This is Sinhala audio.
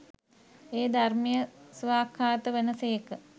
ඒ ධර්මය ස්වාක්ඛාත වන සේක.